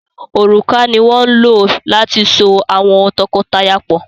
òrùka ní wón ló láti sọ awọn tọkọtaya pọ.